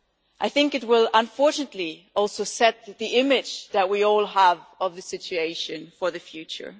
I think it will unfortunately also set the image that we all have of the situation for the future.